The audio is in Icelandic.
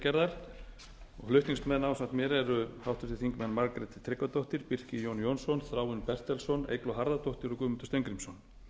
kvikmyndagerðar flutningsmenn ásamt mér eru háttvirtir þingmenn margrét tryggvadóttir birkir jón jónsson þráinn bertelsson eygló harðardóttir og guðmundur steingrímsson